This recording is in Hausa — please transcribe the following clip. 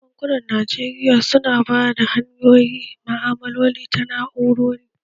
Bankunan Najeriya su na bada hanyoyin ma'malaloli ta na'urori